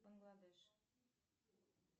бангладеш